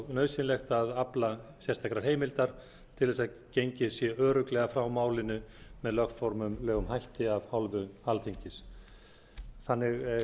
nauðsynlegt að afla sérstakrar heimildar til þess að gengið sé örugglega frá málinu með lögformlegum hætti af hálfu alþingis þannig